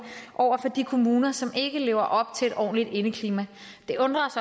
over for de kommuner som ikke lever op til et ordentligt indeklima det undrer